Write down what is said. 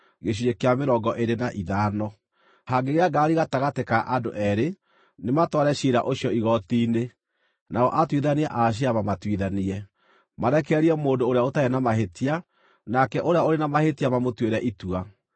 Hangĩgĩa ngarari gatagatĩ ka andũ eerĩ, nĩmatware ciira ũcio igooti-inĩ, nao atuithania a ciira mamatuithanie, marekererie mũndũ ũrĩa ũtarĩ na mahĩtia, nake ũrĩa ũrĩ na mahĩtia mamũtuĩre itua.